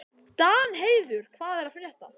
Danheiður, hvað er að frétta?